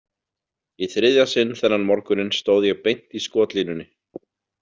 Í þriðja sinn þennan morguninn stóð ég beint í skotlínunni.